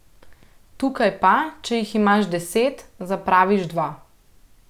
Tukaj pa, če jih imaš deset, zapraviš dva.